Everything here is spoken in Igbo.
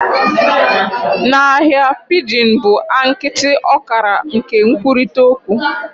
Na ahịa, pidgin bụ a nkịtị ọkara nke nkwurịta okwu